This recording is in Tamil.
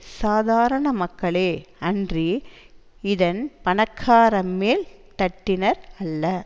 சாதாரண மக்களே அன்றி இதன் பணக்கார மேல் தட்டினர் அல்ல